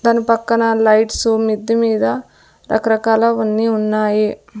తను పక్కన లైట్సు మిద్ది మీద రకరకాల వన్నీ ఉన్నాయి.